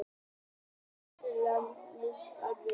Æðislega nístandi sárt.